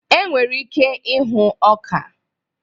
Enwere ike ịhụ ọka.